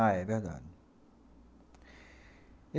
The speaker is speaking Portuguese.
Ah, é verdade.